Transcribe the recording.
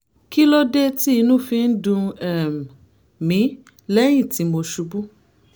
kí ló dé tí inú fi ń dùn um mí lẹ́yìn tí mo ṣubú?